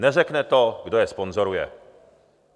Neřekne to, kdo je sponzoruje.